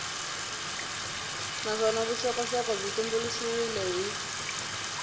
naswona vuxokoxoko byi tumbuluxiwile hi